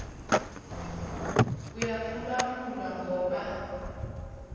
uyaphulwaphu lwa ngoba